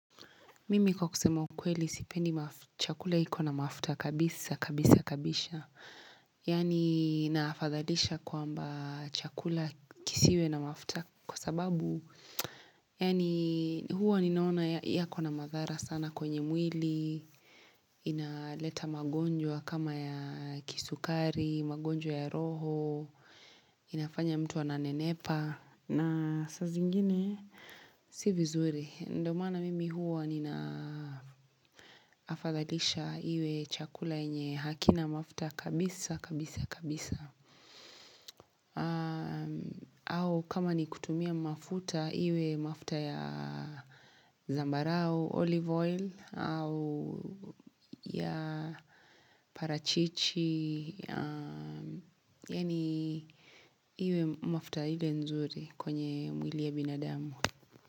Mimi kwa kusema kweli sipendi chakula iko na mafuta kabisa kabisa kabisha Yani naafadhalisha kwamba chakula kisiwe na mafuta kwa sababu Yani huwa ninaona yako na madhara sana kwenye mwili Inaleta magonjwa kama ya kisukari, magonjwa ya roho inafanya mtu wa ananenepa na sasa zingine, sivizuri. Ndo maana mimi huwa ninaafadhalisha iwe chakula yenye hakina mafuta kabisa, kabisa, kabisa. Au kama ni kutumia mafuta iwe mafta ya zambarau, olive oil, au ya parachichi. Yani iwe mafuta ile nzuri kwenye mwili ya binadamu.